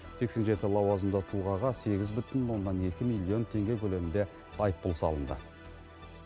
сексен жеті лауазымды тұлғаға сегіз бүтін оннан екі миллион теңге көлемінде айыппұл салынды